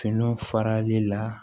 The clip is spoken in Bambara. Fini farali la